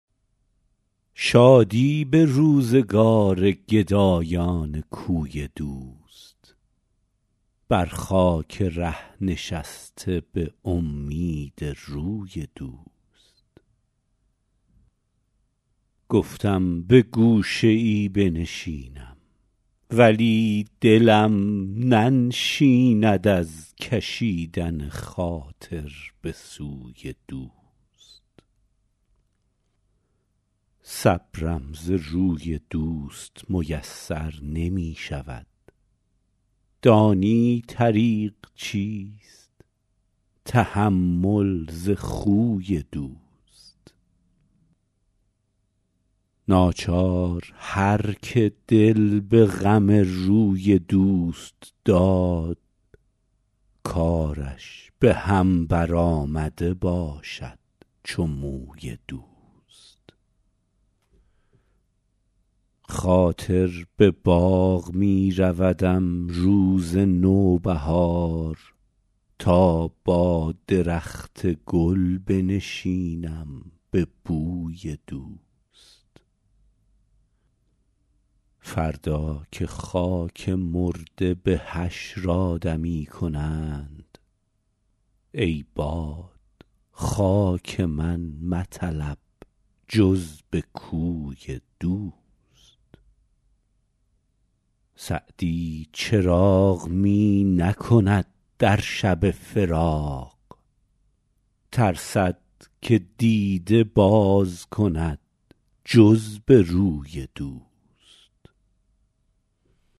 شادی به روزگار گدایان کوی دوست بر خاک ره نشسته به امید روی دوست گفتم به گوشه ای بنشینم ولی دلم ننشیند از کشیدن خاطر به سوی دوست صبرم ز روی دوست میسر نمی شود دانی طریق چیست تحمل ز خوی دوست ناچار هر که دل به غم روی دوست داد کارش به هم برآمده باشد چو موی دوست خاطر به باغ می رودم روز نوبهار تا با درخت گل بنشینم به بوی دوست فردا که خاک مرده به حشر آدمی کنند ای باد خاک من مطلب جز به کوی دوست سعدی چراغ می نکند در شب فراق ترسد که دیده باز کند جز به روی دوست